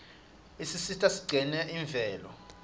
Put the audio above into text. isisita sigcine imvelo